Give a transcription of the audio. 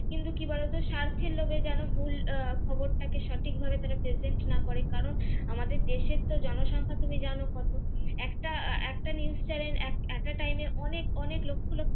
কিন্তু কি বলতো স্বার্থের লোভে যেন ভুল আহ খবরটাকে সঠিকভাবে তারা present না করে কারণ আমাদের দেশের তো জনসংখ্যা তুমি জানো কত একটা আহ একটা news channel একটা time এ অনেক অনেক লক্ষ লক্ষ